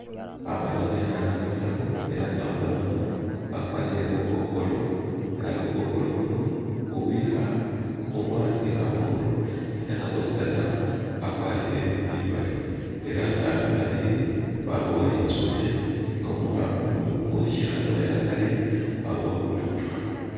Abana behana bataru, Era nga abana bano bakwalire bukokolo, Era bukokolo buno bubiha kumumwa ni kamolu, Era nga bosi tsana bakwalire bimali Era nga babili babowa litsune nga umuha umu uweshihana uwe akari wabowa bututwa.